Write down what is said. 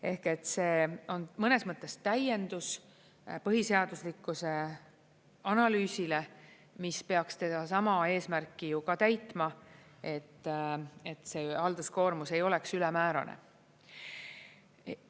Ehk see on mõnes mõttes täiendus põhiseaduslikkuse analüüsile, mis peaks sedasama eesmärki täitma, et see halduskoormus ei oleks ülemäärane.